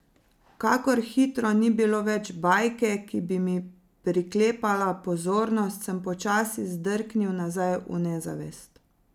Kakor hitro ni bilo več bajke, ki bi mi priklepala pozornost, sem počasi zdrknil nazaj v nezavest.